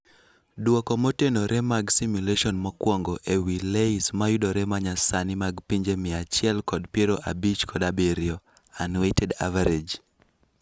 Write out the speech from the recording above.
Duoko motenore mag simulation mokwongo ewii LAYS mayudore manyasani mag pinje mia achiel kod piero abich kod abirio (unweighted average).